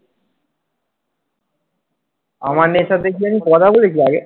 আমান এর সাথে কি আমি কথা বলেছি আগে?